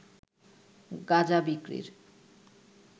গাঁজা বিক্রির